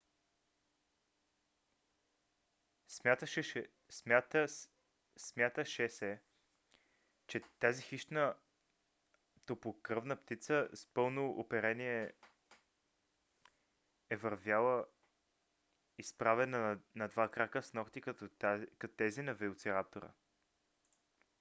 смяташе се че тази хищна топлокръвна птица с пълно оперение е вървяла изправена на два крака с нокти като тези на велосираптора